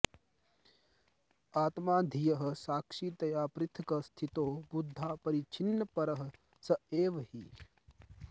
आत्मा धियः साक्षितया पृथक् स्थितो बुद्ध्यापरिच्छिन्नपरः स एव हि